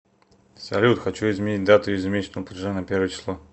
салют хочу изменить дату ежемесячного платежа на первое число